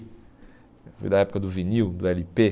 Foi da época do vinil, do ele pê.